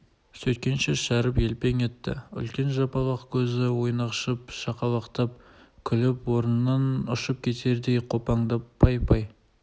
сөйткенше шәріп елпең етті үлкен жапалақ көзі ойнақшып шақалақтап күліп орнынан ұшып кетердей қопаңдап пай пай